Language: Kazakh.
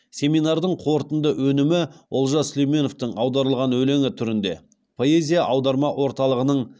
семинардың қорытынды өнімі олжас сүлейменовтың аударылған өлеңі түрінде поэзия аударма орталығының